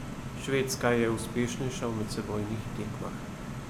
Švedska je uspešnejša v medsebojnih tekmah.